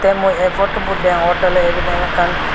tey mui ei potobot deongottey oley ebiden ekkan.